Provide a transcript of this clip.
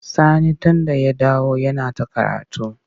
Sani yau tunda ya dawo yana ta karatu.